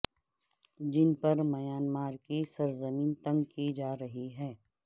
جن پر میانمار کی سرزمین تنگ کی جارہی ہے